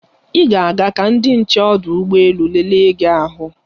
Ị ga-aga ka ndị nche ọdụ ụgbọ elu lelee gị ahụ.